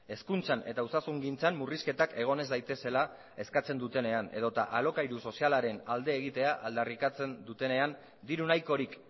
hezkuntzan eta osasun gintzan murrizketak egon ez daitezela eskatzen dutenean edota alokairu sozialaren alde egitea aldarrikatzen dutenean diru nahikorik